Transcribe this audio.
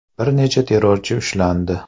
Bir necha terrorchi ushlandi.